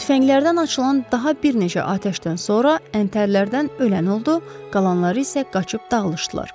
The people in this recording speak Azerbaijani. Tüfənglərdən açılan daha bir neçə atəşdən sonra əntərlərdən ölən oldu, qalanları isə qaçıb dağılışdılar.